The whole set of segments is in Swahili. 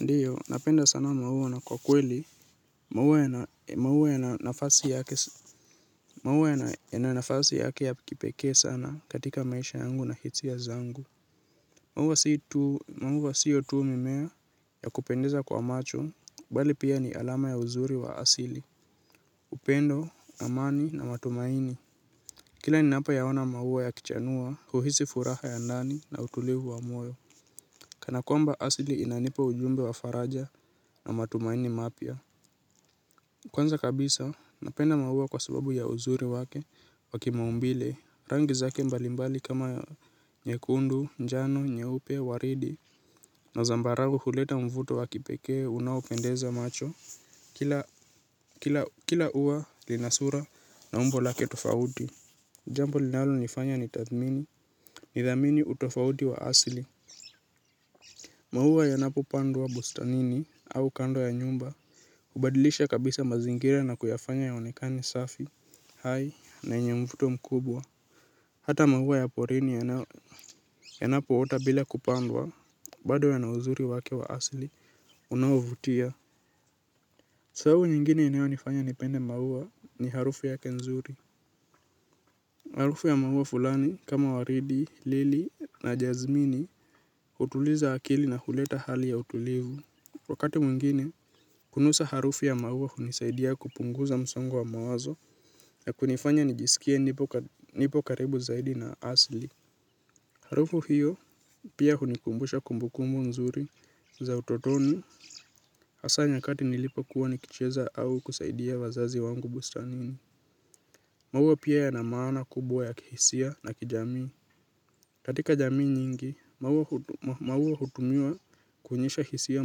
Ndio, napenda sana maua na kwa kweli. Maua yana yana nafasi yake ya kipekee sana katika maisha yangu na hitsia zangu. Maua sio tu mimea ya kupendeza kwa macho, bali pia ni alama ya uzuri wa asili. Upendo, amani na matumaini. Kila ninapoyaona maua yakichanua, huhisi furaha ya ndani na utulivu wa moyo. Kana kwamba asili inanipa ujumbe wa faraja na matumaini mapya. Kwanza kabisa napenda maua kwa subabu ya uzuri wake wa kimaumbile. Rangi zake mbalimbali kama nyekundu, njano, nyeupe, waridi na zambaragu huleta mvuto wa kipekee unaopendeza macho. Kila ua lina sura na umbo lake tofauti. Jambo linalonifanya nitathmini, nithamini utofauti wa asili. Maua yanapopandwa bustanini au kando ya nyumba. Ubadilisha kabisa mazingira na kuyafanya yaonekane safi hai, na yenye mvuto mkubwa hata mahua ya porini yanapoota bila kupandwa bado yana uzuri wake wa asili, unaovutia. Sababu nyingine inayonifanya nipende maua ni harufu yake nzuri. Harufu ya maua fulani kama waridi, lili na jazmini. Utuliza akili na huleta hali ya utulivu. Wakati mwingine, kunusa harufu ya maua hunisaidia kupunguza msongo wa mawazo na kunifanya nijisikie nipo karibu zaidi na asli. Harufu hiyo pia hunikumbusha kumbukumbu nzuri za utotoni hasaa nyakati nilipokuwa nikicheza au kusaidia wazazi wangu bustanini. Maua pia yana maana kubwa ya kihisia na kijamii. Katika jamii nyingi, maua hutumiwa kuonyesha hisia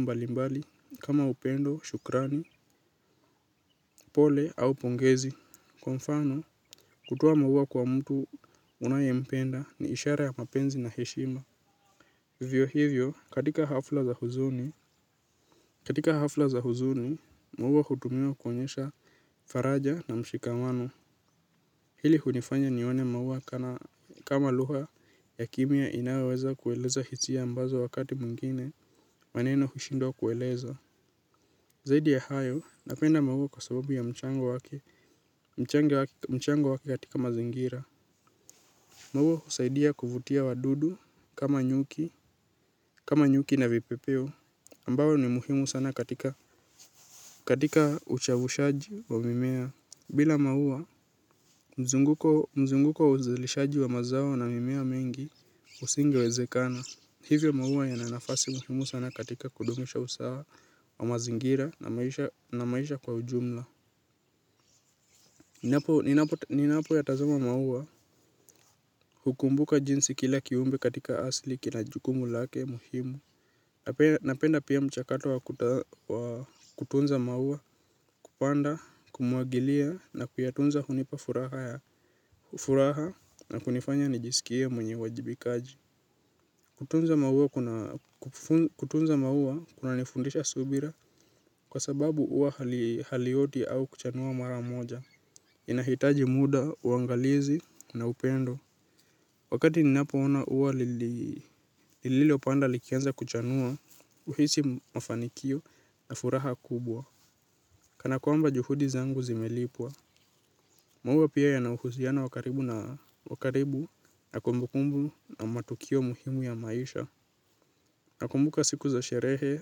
mbalimbali kama upendo, shukrani, pole au pongezi. Kwa mfano, kutoa maua kwa mtu unayempenda ni ishara ya mapenzi na heshima. Hivyo hivyo, katika hafla za huzuni. Katika hafla za huzuni, maua hutumiwa kuonyesha faraja na mshikamano. Hili hunifanya nione maua kama luha ya kimya inayoweza kueleza hisia ambazo wakati mwingine maneno hushindwa kueleza. Zaidi ya hayo, napenda maua kwa sababu ya mchango wake wake katika mazingira. Maua husaidia kuvutia wadudu, kama nyuki, kama nyuki na vipepeo, ambao ni muhimu sana katika uchavushaji wa mimea. Bila maua, mzunguko wa uzilishaji wa mazao na mimea mingi, usingewezekana. Hivyo maua yana nafasi muhimu sana katika kudumisha usawa wa mazingira na maisha kwa ujumla. Ninapoyatazama maua hukumbuka jinsi kila kiumbe katika asli kina jukumu lake muhimu. Napenda pia mchakato wa kutunza maua kupanda kumwagilia na kuyatunza hunipa furaha ya furaha na kunifanya nijisikie mwenye uwajibikaji. Kutunza maua kunanifundisha subira kwa sababu ua halioti au kuchanua mara moja. Inahitaji muda, uangalizi na upendo. Wakati ninapoona uwa lili lililopanda likianza kuchanua. Uhisi mafanikio na furaha kubwa. Kana kwamba juhudi zangu zimelipwa. Maua pia yana uhusiano wa karibu na wa karibu na kumbukumbu na matukio muhimu ya maisha. Nakumbuka siku za sherehe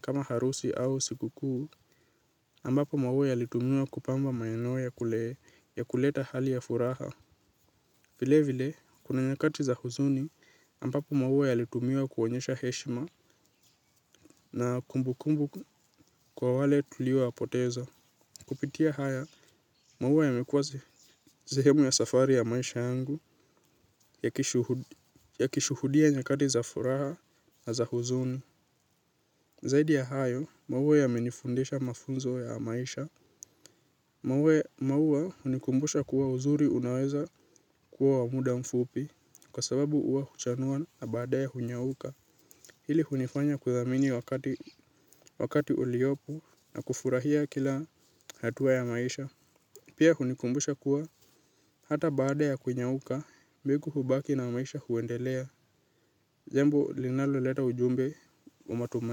kama harusi au siku kuu ambapo maua yalitumiwa kupamba maeneo ya kuleta hali ya furaha. Vilevile, kuna nyakati za huzuni ambapo maua yalitumiwa kuonyesha heshima na kumbukumbu kwa wale tuliowapoteza. Kupitia haya, maua yamekua zehemu ya safari ya maisha yangu yakishuhudia nyakati za furaha na za huzuni. Zaidi ya hayo, maua yamenifundisha mafunzo ya maisha. Maua maua hunikumbusha kuwa uzuri unaweza kuwa wa muda mfupi kwa sababu uwa huchanua na baadae hunyauka. Hili hunifanya kuthamini wakati uliopu na kufurahia kila hatua ya maisha. Pia hunikumbusha kuwa hata baada ya kunyauka mbegu hubaki na maisha huendelea jambo linaloleta ujumbe wa matuma.